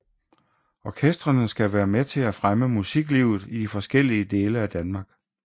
Orkestrene skal være med til at fremme musiklivet i de forskellige dele af Danmark